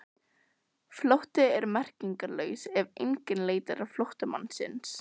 Flótti er merkingarlaus ef enginn leitar flóttamannsins.